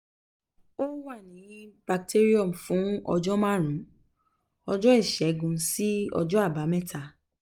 ó wà ní bacterium fún ọjọ́ márùn-ún ọjọ́ ìṣẹ́gun sí ọjọ́ àbámẹ́ta